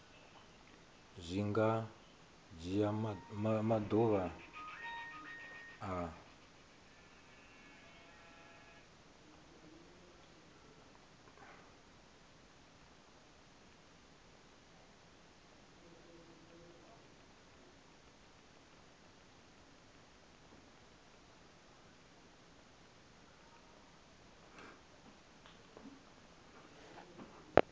zwi nga dzhia maḓuvha a